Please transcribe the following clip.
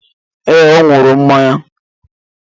Ee, ọ ñuru mmanya